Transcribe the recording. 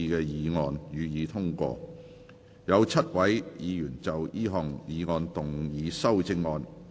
有7位議員要就這項議案動議修正案。